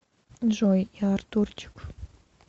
джой я артурчик